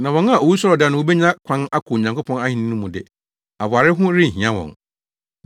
Na wɔn a owusɔre da no wobenya kwan akɔ Onyankopɔn Ahenni no mu de, aware ho renhia wɔn.